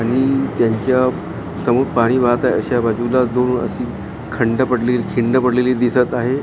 आणि त्यांच्या समोर पाणी वाहत आहे अश्या बाजूला जो खंड पडलेली खिंड पडलेली दिसत आहे .